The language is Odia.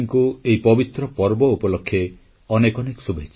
• ଫଳପ୍ରଦ ମୌସୁମୀ ଅଧୀବେଶନ ଲାଗି ସବୁ ସାଂସଦଙ୍କୁ ଶ୍ରେୟ ଦେଲେ ପ୍ରଧାନମନ୍ତ୍ରୀ